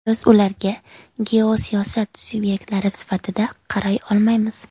Biz ularga geosiyosat subyektlari sifatida qaray olmaymiz.